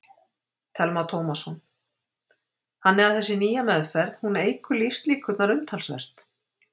Telma Tómasson: Þannig að þessi nýja meðferð, hún eykur lífslíkurnar umtalsvert?